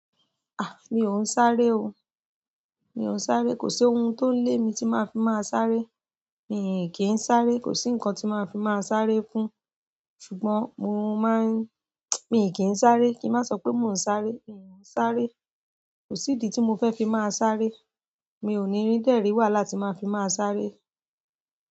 Mì ó sáré o, mi ò sáré, kò sí ohun tó lé mi tí màá fi máa sáré. Mi kì í sáré, kò sí nǹkan tí máa fi máa sáré fún, ṣùgbọ́n mo máa ń, mi kì í sáré. Kí má sọ pé mi ò ún sáré, mi ò ún sáré. Kò sí idi tí mo fẹ́ fi máa sáré. Mi ò ní rí dẹ̀ rí wàhálà tí màá fi máa sáré.